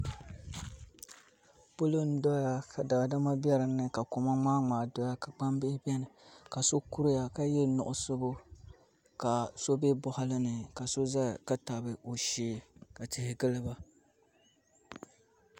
Polo n doya ka daadama bɛ dinni koma ŋmaa ŋmaa doya ka so kuriya ka yɛ nuɣusibu ka so bɛ boɣali ni ka so ʒɛya ka tabi o shee ka tihi giliba